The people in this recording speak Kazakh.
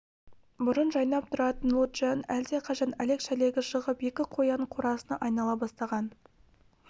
бұрын жайнап тұратын лоджияның әлдеқашан әлек-шәлегі шығып екі қоянның қорасына айнала бастаған